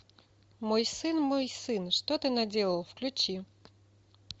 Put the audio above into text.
мой сын мой сын что ты наделал включи